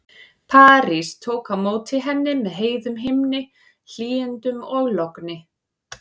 París tók á móti henni með heiðum himni, hlýindum og logni.